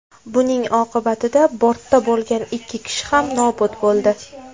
Buning oqibatida bortda bo‘lgan ikki kishi ham nobud bo‘ldi.